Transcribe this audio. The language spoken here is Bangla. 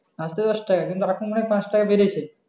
আসছে দশ টাকা কিন্তু আরকুম মানে দশ টাকা বেরেছে